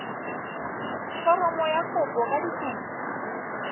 foromo ya kopo ka dikopi